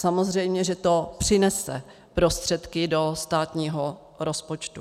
Samozřejmě že to přinese prostředky do státního rozpočtu.